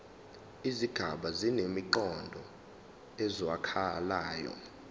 izigaba zinemiqondo ezwakalayo